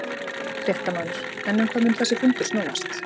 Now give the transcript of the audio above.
Fréttamaður: En um hvað mun þessi fundur snúast?